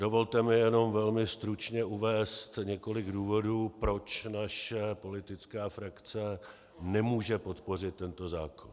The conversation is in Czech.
Dovolte mi jenom velmi stručně uvést několik důvodů, proč naše politická frakce nemůže podpořit tento zákon.